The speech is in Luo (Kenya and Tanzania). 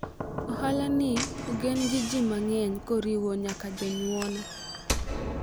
ohala ni ogen gi ji mang'eny koriwo nyaka jonyuona